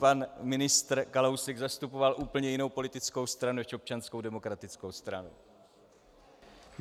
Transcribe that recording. Pan ministr Kalousek zastupoval úplně jinou politickou stranu než Občanskou demokratickou stranu.